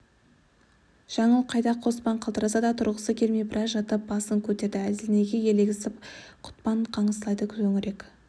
жаңыл қайда қоспан қалтыраса да тұрғысы келмей біраз жатып басын көтерді әлденеге елегізіп құтпан қыңсылайды төңірек